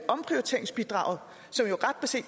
omprioriteringsbidraget